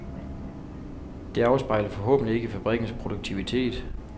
Det afspejler forhåbentlig ikke fabrikkens produktivitet.